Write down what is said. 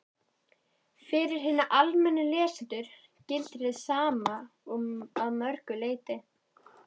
Fyrir hina almennu lesendur gildir hið sama að mörgu leyti.